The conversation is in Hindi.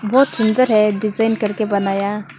बहोत सुंदर है डिजाइन करके बनाया।